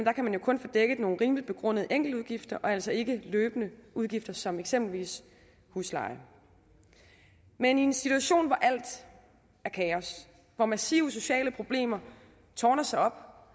er kan man jo kun få dækket nogle rimeligt begrundede enkeltudgifter og altså ikke løbende udgifter som eksempelvis husleje men i en situation hvor alt er kaos hvor massive sociale problemer tårner sig op